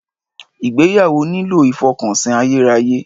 Ìgbéyàwó nílò ìfọkànsìn ayérayé.